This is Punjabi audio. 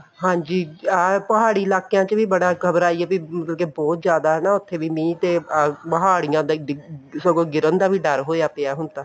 ਹਾਂਜੀ ਆਹ ਪਹਾੜੀ ਇਲਾਕਿਆਂ ਚ ਵੀ ਬੜਾ ਖਬਰ ਆਈ ਹੈ ਮਤਲਬ ਕੀ ਬਹੁਤ ਜ਼ਿਆਦਾ ਹਨਾ ਉੱਥੇ ਵੀ ਮੀਂਹ ਤੇ ਪਹਾੜੀਆਂ ਦਾ ਡਿੱਗਣ ਸਗੋਂ ਗਿਰਣ ਦਾ ਵੀ ਡਰ ਹੋਇਆ ਪਿਆ ਹੁਣ ਤਾਂ